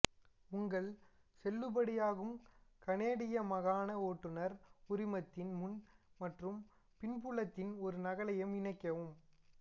உங்கள் செல்லுபடியாகும் கனேடிய மாகாண ஓட்டுநர் உரிமத்தின் முன் மற்றும் பின்புலத்தின் ஒரு நகலை இணைக்கவும்